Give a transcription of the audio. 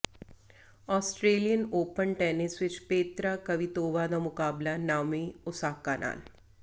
Australian Open tennis ਵਿੱਚ Petra Kvitova ਦਾ ਮੁਕਾਬਲਾ ਨਾਓਮੀ ਓਸਾਕਾ ਨਾਲ